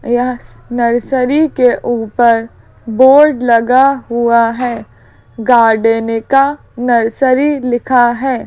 यह नर्सरी के ऊपर बोर्ड लगा हुआ है गार्डेनिका नर्सरी लिखा है।